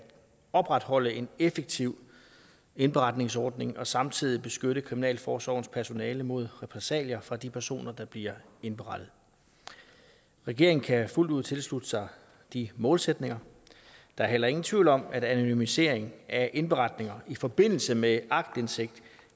opretholde en effektiv indberetningsordning og samtidig beskytte kriminalforsorgens personale mod repressalier fra de personer der bliver indberettet regeringen kan fuldt ud tilslutte sig de målsætninger der er heller ingen tvivl om at anonymisering af indberetninger i forbindelse med aktindsigt